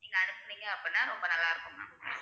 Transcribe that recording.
நீங்க அனுப்புனீங்க அப்படின்னா ரொம்ப நல்லா இருக்கும் ma'am